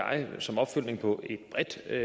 så er